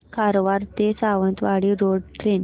कारवार ते Sawantwadi road train